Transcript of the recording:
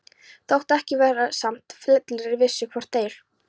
Þótt ekki verði sagt með fullri vissu, hvort þeir